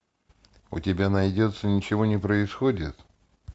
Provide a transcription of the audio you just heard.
у тебя найдется ничего не происходит